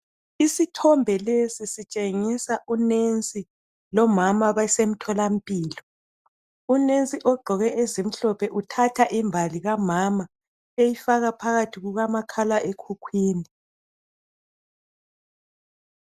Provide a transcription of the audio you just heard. Isithombe lesi sitshengisa unensi lomama abasemtholampilo. Unensi ogqoke ezimhlophe uthatha imbali Kamama eyifaka phakathi kukamakhalekhukhwini.